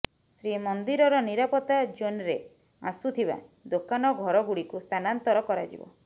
ଶ୍ରୀମନ୍ଦିରର ନିରାପତ୍ତା ଜୋନ୍ରେ ଆସୁଥିବା ଦୋକାନ ଓ ଘରଗୁଡ଼ିକୁ ସ୍ଥାନାନ୍ତର କରାଯିବ